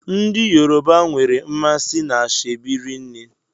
Ndị Yoruba nwere mmasị n'ashebi rinne.